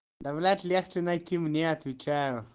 да блять легче найти мне отвечаю